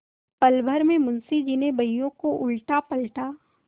पलभर में मुंशी जी ने बहियों को उलटापलटा